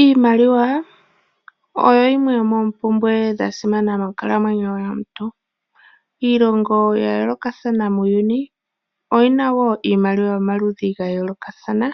Iimaliwa oyo yimwe yomoompumbwe dha simana monkalamweyo yomuntu. Iilongo ya yoolokathana muuyuni oyi na wo iimaliwa yomaludhi ga yoolokathana,